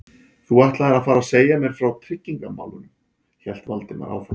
Þú ætlaðir að fara að segja mér frá tryggingamálunum- hélt Valdimar áfram.